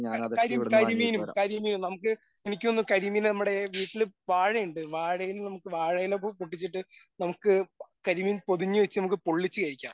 ക കരി കരിമീനും കരിമീനും നമുക്ക് എനിക്ക് തോന്നുന്നു കരിമീൻ നമ്മുടെ വീട്ടില് വാഴ ഉണ്ട് വാഴയിൽ നമുക്ക് വാഴയില പൊട്ടിച്ചിട്ട് നമുക്ക് കരിമീൻ പൊതിഞ്ഞു വെച്ച് നമുക്ക് പൊള്ളിച്ച് കഴിക്കാം.